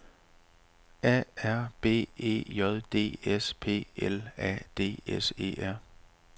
A R B E J D S P L A D S E R